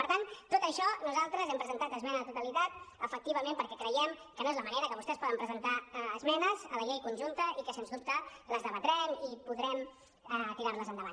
per tant per tot això nosaltres hem presentat esmena a la totalitat efectivament perquè creiem que no és la manera que vostès poden presentar esmenes a la llei con·junta i que se’ns dubte les debatrem i podrem tirar·les endavant